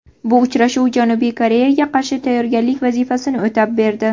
Bu uchrashuv Janubiy Koreyaga qarshi tayyorgarlik vazifasini o‘tab berdi.